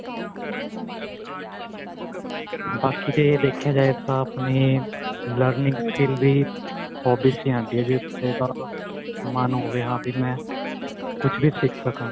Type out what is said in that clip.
ਬਾਕੀ ਜੇ ਦੇਖਿਆ ਜਾਏ ਤਾਂ ਆਪਣੇ learning skill ਵੀ hobbies ਚ ਹੀ ਆਂਦੀ ਏ ਜੇ ਮੰਨ ਹੋਵੇ ਹਾਂ ਵੀ ਮੈਂ ਕੁੱਝ ਵੀ ਸਿਖ ਸਕਾ